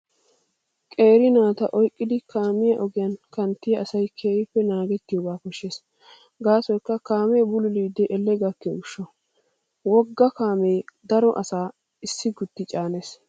Qeeri naata oyqqidi kaamiyaa ogiyaa kanttiyaa asay keehippe naagettiyoogaa koshshees gaasoykka kaamee bululidi elle gakkiyo gishshawu. Wogga kaamee daro asaa issi gutti caanees.